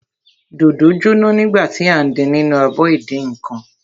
Dòdò jóná nígbà tí à ń din nínú abọ ìdínǹkan.